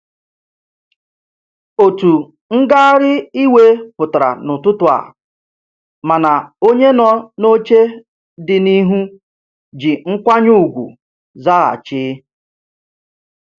Otu ngagharị iwe pụtara n'ụtụtụ a, mana onye nọ n'oche dị n'ihu ji nkwanye ugwu zaghachi.